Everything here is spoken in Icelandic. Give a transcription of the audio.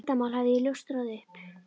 Hvaða leyndarmáli hafði ég ljóstrað upp?